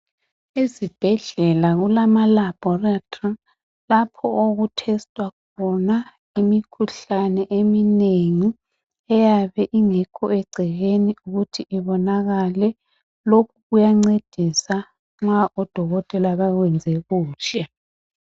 Ezibhedlela kulama labhorithori lapho oku thestwa khona imikhuhlane eminengi eyabe ingekho egcekeni ukuthi ibonakale, lokhu kuyancedisa ma odokotela bakwenze kuhle.